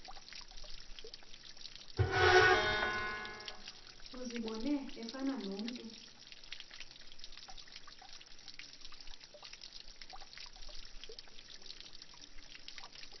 uzibone efana nomntu